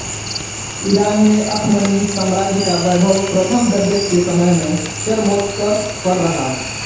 Iran में अखमनी साम्राज्य का वैभव प्रथम दरियस के समय में चरमोत्कर्ष पर रहा